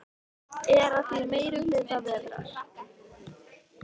Er að því meiri hluta vetrar.